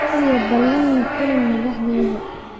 kaliya ballan la kulan madaxdayda